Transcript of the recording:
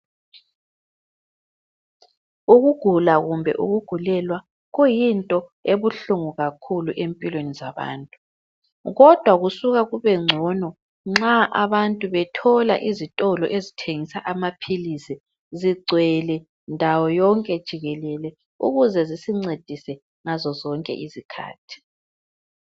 Ukugula kumbe ukugulelwa kuyinto ebuhlungu kakhulu empilweni zabantu. Kodwa kusuka kubengcono nxa abantu bethola izitolo ezithengisa amaphilisi zigcwele ndawoyonke jikelele ukuze zisincedise ngazo zonke izikhathi.